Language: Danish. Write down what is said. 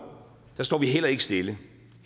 står vi heller ikke stille